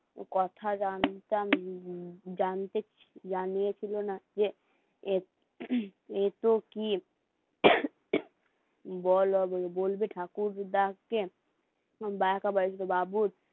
কথা জানতাম জানইয়ে ছিল না যে এ তো কি বলো বলবে ঠাকুরটাকে